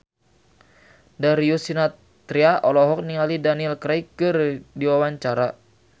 Darius Sinathrya olohok ningali Daniel Craig keur diwawancara